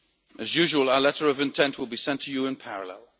As usual, our letter of intent will be sent to you in parallel.